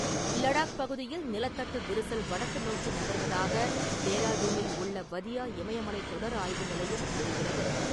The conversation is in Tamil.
லடாக் பகுதியில் நிலத்தட்டு விரிசல் வடக்கு நோக்கி நகர்வதாக டேராடூனில் உள்ள வதியா இமயமலை தொடர் ஆய்வு நிலையம் கூறுகிறது.